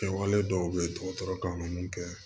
Kɛwale dɔw bɛ dɔgɔtɔrɔ kan ka mun kɛ